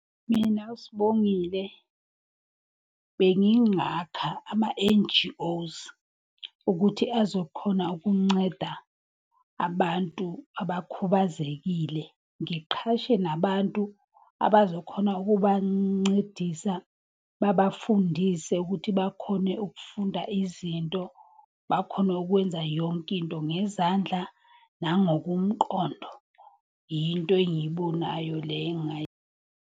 Mina uSibongile, bengingakha ama-N_G_Os ukuthi azokhona ukunceda abantu abakhubazekile. Ngiqhashe nabantu abazokhona ukuba ncedisa babafundise ukuthi bakhone ukufunda izinto, bakhone ukwenza yonke into ngezandla nangokomqondo. Yinto engiyibonayo le .